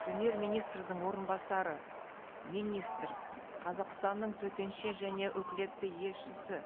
премьер министрдің орынбасары министр қазақстанның төтенше және өкілетті елшісі